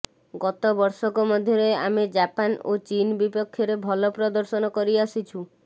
ଗତ ବର୍ଷକ ମଧ୍ୟରେ ଆମେ ଜାପାନ ଓ ଚୀନ ବିପକ୍ଷରେ ଭଲ ପ୍ରଦର୍ଶନ କରିଆସିଛୁ